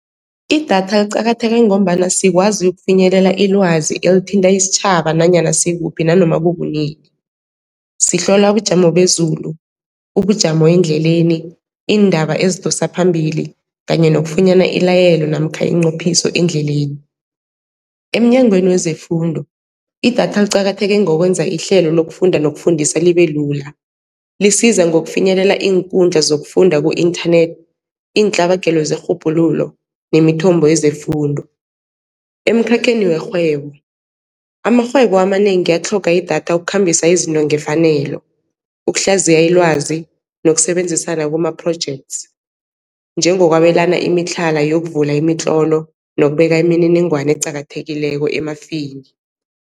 Idatha liqakatheke ngombana sikwazi ukufinyelela ilwazi elithinta isitjhaba nanyana sikuphi nanoma kukunini, sihlola ubujamo bezulu, ubujamo endleleni, iindaba ezidosa phambili kanye nokufunyana ilayelo namkha iinqophiso endleleni. Emnyangweni wezeFundo idatha liqakatheke ngokwenza ihlelo lokufunda nokufundisa libe lula, lisiza ngokufinyelela iinkundla zokufunda ku-internet, iintlabagelo zerhubhululo nemithombo yezefundo. Emkhakheni werhwebo, amarhwebo amanengi atlhoga idatha ukukhambisa izinto ngefanelo, ukuhlaziya ilwazi nokusebenzisana kuma-projects, njengokwabelana imitlhala yokuvula imitlolo nokubeka imininingwana eqakathekileko emafini.